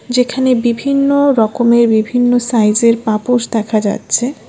এখানে বিভিন্ন রকমের বিভিন্ন সাইজের পাপোস দেখা যাচ্ছে।